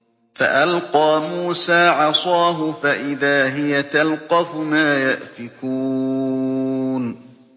فَأَلْقَىٰ مُوسَىٰ عَصَاهُ فَإِذَا هِيَ تَلْقَفُ مَا يَأْفِكُونَ